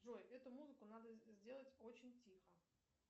джой эту музыку надо сделать очень тихо